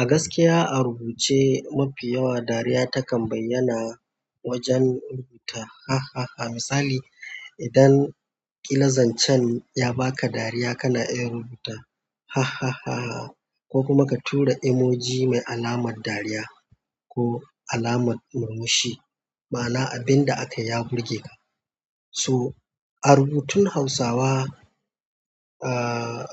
A gaskiya a rubuce mafi yawa dariya takan bayyana. Wajen rubuta hahaha misali idan ƙila zancen ya baka dariya, kana iya rubuta hahaha ko kuma ka tura emoji mai alamar dariya ko alamar murmushi, ma'ana abin da akai ya burge ka. So a rubutun Hausawa, aaah